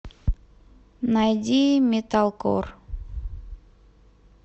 найди металкор